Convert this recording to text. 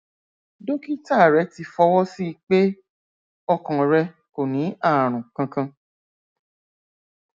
dókítà rẹ ti fọwọ sí i pé ọkàn rẹ kò ní ààrùn kankan